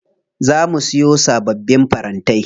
Za mu siyo sababbin farantai.